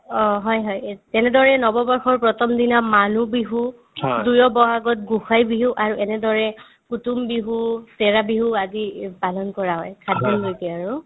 অ, হয় হয় এত তেনেদৰে নৱবৰ্ষৰ প্ৰথম দিনা মানুহ বিহু দুইয় ব'হাগত গোঁসাই বিহু আৰু এনেদৰে কুটুম বিহু, চেৰা বিহু আদি পালন কৰা হয় সাতদিনলৈকে আৰু